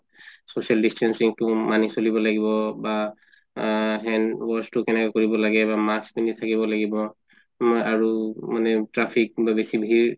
social distancing তো মানি চলিব লাগিব বা hand wash তো কেনেকুৱা কে কৰিব লাগে বা mask পিন্ধি থাকিব লাগিব মানে আৰু traffic বা বেচি ভিৰ